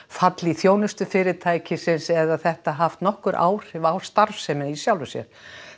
fall í þjónustu fyrirtækisins eða þetta haft nokkur áhrif á starfsemina í sjálfri sér